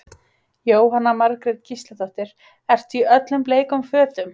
Jóhanna Margrét Gísladóttir: Ertu í öllum bleikum fötum?